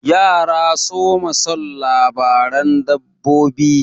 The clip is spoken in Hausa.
Yara soma son labaran dabbobi.